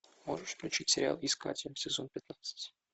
можешь включить сериал искатель сезон пятнадцать